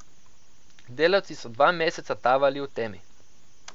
Delavci so dva meseca tavali v temi.